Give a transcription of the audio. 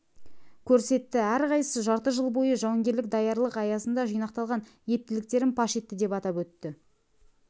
көрсетті әрқайсысы жарты жыл бойы жауынгерлік даярлық аясында жинақталған ептіліктерін паш етті деп атап өтті